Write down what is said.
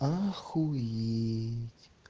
охуеть